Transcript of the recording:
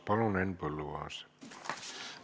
Palun, Henn Põlluaas!